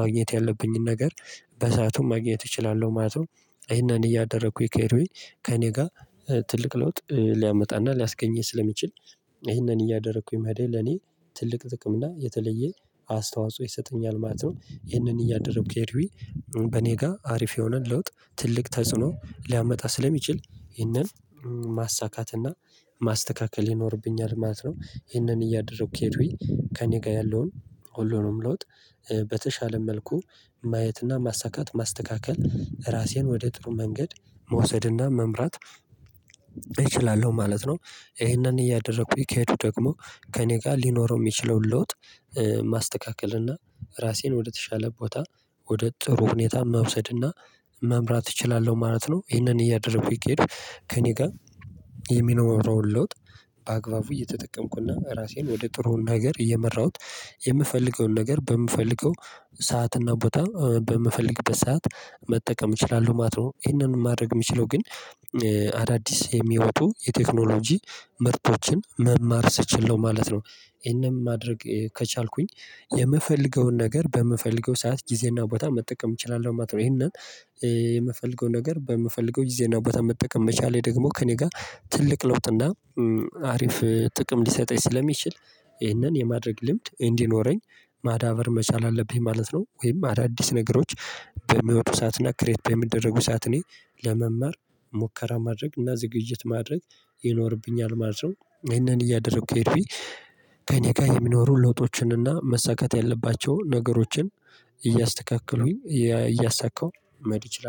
ማግኘት ያለብኝን ነገር በሰአቱም ማግኘት እችላለሁ ማለት ነው። ይሄን እያደረኩኝ ከሄዱኝ ከእኔ ጋር ትልቅ ለውጥ ሊያመጣና ሊያስገኘኝ ስለሚችል ይህንን እያደረኩኝ መሄዴ ለኔ ትልቅ ጥቅም እና የተለየ አስተዋጽኦ ይሰጠኛል ማለት ነው። ይህንን እያደረኩ ከሄድኩኝ በኔ ጋር አሪፍ የሆነን ለውጥ ትልቅ ተጽዕኖ ሊያመጣ ስለሚችል ይህንን ማሳካትና ማስተካከል ይኖርብኛል ማለት ነው። ይሄንን እያደረኩ ከሄዱኝ ከእኔ ጋር ያለውን ሁሉንም ለውጥ በተሻለ መልኩ ማየትና ማሳካት ማስተካከል ራሴን ወደ ጥሩ መንገድ መውሰድና መምራት እችላለሁ ማለት ነው። ይሄንን እያደረኩኝ ከሄዱ ደግሞ ከእኔ ጋር ሊኖረው እሚችለውን ለውጥ ማስተካከል እና ራሴን ወደተሻለ ቦታ ወደ ጥሩ ሁኔታ መውሰድና መምራት እችላለሁ ማለት ነው። ይሄንን እያደረኩ ከሄድኩ ከእኔ ጋር የሚኖረውን ለውጥ በአግባቡ እየተጠቀምኩና ራሴን ወደ ጥሩ ነገር እየመራሁት የምፈልገውን ነገር በምፈልገው ሰዓት እና ቦታ በምፈልግበት ሰዓት መጠቀም እችላለሁ ማለት ነው። ይሄንን ማድረግ እምችለው ግን አዳዲስ የሚወጡ የቴክኖሎጂ ምርቶችን መማር ስችል ነው ማለት ነው። ይሄንን ማድረግ ከቻልኩኝ የምፈልገውን ነገር በምፈልገው ሰዓት ጊዜና ቦታ መጠቀም እችላለሁ ማለት ነው። ይሄንን የምፈልገው ነገር በምፈልገው ጊዜና ቦታ መጠቀም መቻሌ ደግሞ ከእኔ ጋር ትልቅ ለውጥና አሪፍ ጥቅም ሊሰጠኝ ስለሚችል ይህንን የማድረግ ልምድ እንዲኖረኝ ማዳበር መቻል አለብኝ ማለት ነው። ወይም አዳዲስ ነገሮች በሚወጡ ሰዓትና ክሬት በሚደረጉ ሰዓት እኔ ለመማር ሙከራ ማድረግ እና ዝግጅት ማድረግ ይኖርብኛል ማለት ነው። ይሄንን እያደረኩ ከሄድኩኝ ከእኔ ጋር የሚኖሩ ለውጦችንና መሳካት ያለባቸውን ነገሮችን እያስተካከሉኝ እያሳካሁ መሄድ እችላለሁ